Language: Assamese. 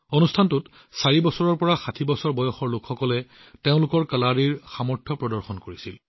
এই অনুষ্ঠানত ৪ বছৰীয়া শিশুৰ পৰা ৬০ বছৰৰ বয়সৰ লোকসকলে কালাৰীৰ সৰ্বশ্ৰেষ্ঠ ক্ষমতা প্ৰদৰ্শন কৰিছিল